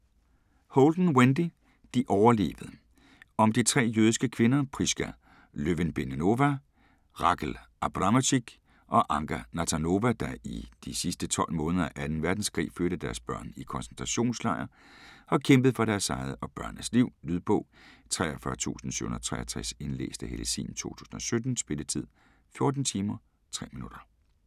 Holden, Wendy: De overlevede Om de tre jødiske kvinder, Priska Löwenbeinová, Rachel Abramczyk og Anka Nathanová, der i de sidste måneder af 2. verdenskrig fødte deres børn i koncentrationslejr, og kæmpede for deres eget og børnenes liv. Lydbog 43763 Indlæst af Helle Sihm, 2017. Spilletid: 14 timer, 3 minutter.